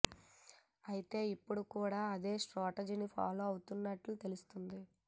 అయితే ఇప్పుడు కూడా అదే స్ట్రాటజీని ఫాలో అవుతున్నట్లు తెలుస్తుంది